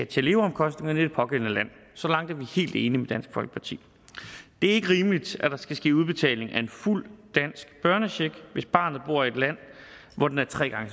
til leveomkostningerne i det pågældende land så langt er vi helt enige med dansk folkeparti det er ikke rimeligt at der skal ske udbetaling af en fuld dansk børnecheck hvis barnet bor i et land hvor den er tre gange